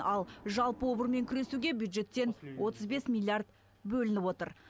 ал жалпы обырмен күресуге бюджеттен отыз бес миллиард бөлінген